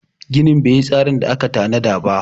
ginin ba yi tsarin da aka tana da ba